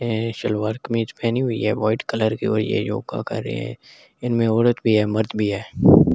ए सलवार कमीज पहनी हुई है वाइट कलर की और ये योगा कर रहे हैं इनमें औरत भी है मर्द भी है।